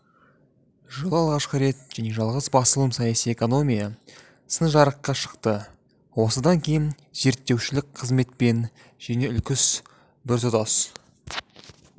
жылы алғашқы рет және жалғыз басылым саяси экономия сыны жарыққа шықты осыдан кейін зерттеушілік қызметпен және үлкен біртұтас